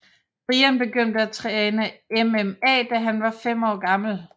Brian begyndte at træne MMA da han var 5 år gammel